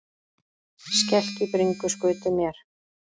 Skelk í bringu skutu mér.